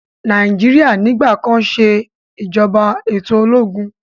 Nàìjíríà nigbakan se ìjọba eto ológun.